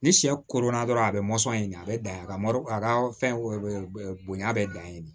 Ni sɛ koronna dɔrɔn a bɛ ɲini a bɛ dan yen a ka ma a ka fɛn bonya bɛɛ dan ye